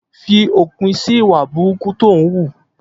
Fi òpín si ìwá búrùkú tọ ń wú!